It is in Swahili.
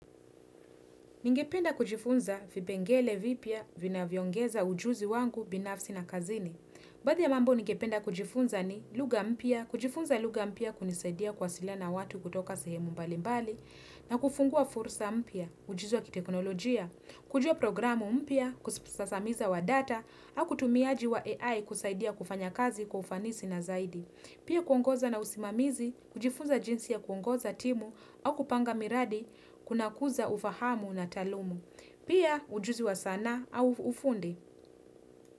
Ningependa kujifunza vipengele vipia vinavyo ongeza ujuzi wangu binafsi na kazini. Baadhi ya mambo ningependa kujifunza ni lugha mpya, kujifunza lugha mpya kunisaidia kuwasilia na watu kutoka sehemu mbali mbali na kufungua fursa mpya, ujuzi wa kiteknolojia, kujua programu mpia, kusasamiza wa data, hau kutumiaji wa AI kusaidia kufanya kazi kwa ufanisi na zaidi. Pia kuongoza na usimamizi, kujifunza jinsi ya kuongoza timu au kupanga miradi kuna kuza ufahamu na talumu. Pia ujuzi wa sanaa au ufundi.